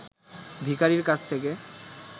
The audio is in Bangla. ভিখারির কাছ থেকে